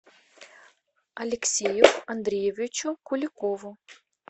алексею андреевичу куликову